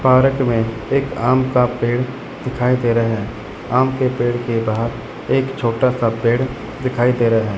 Park में एक आम का पेड़ दिखाई दे रहे हैं आम के पेड़ के बाहर एक छोटा सा पेड़ दिखाई दे रहे हैं।